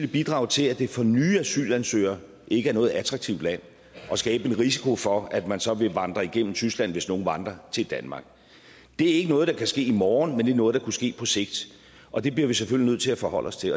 bidrage til at det for nye asylansøgere ikke er noget attraktivt land og skabe en risiko for at man så vil vandre igennem tyskland hvis nogle vandrer til danmark det er ikke noget der kan ske i morgen men det er noget der kunne ske på sigt og det bliver vi selvfølgelig nødt til at forholde os til